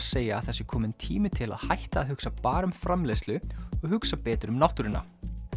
segja að það sé kominn tími til að hætta að hugsa bara um framleiðslu og hugsa betur um náttúruna